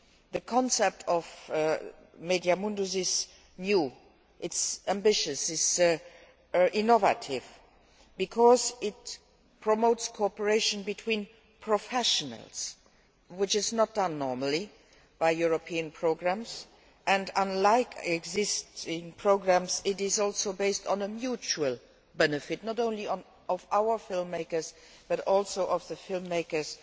The concept of MEDIA Mundus is new, ambitious and innovative, because it promotes cooperation between professionals, which is not done normally by European programmes, and, unlike existing programmes, it is also based on mutual benefit, not only for our film makers but also for film makers